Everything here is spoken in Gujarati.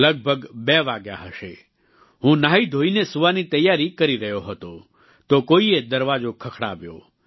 લગભગ 2 વાગ્યા હશે હું ન્હાઈધોઈને સૂવાની તૈયારી કરી રહ્યો હતો તો કોઈએ દરવાજો ખખડાવ્યો